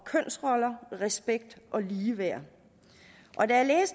kønsroller respekt og ligeværd og da